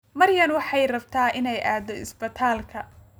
Maryan waxay rabtay inay aado isbitaalka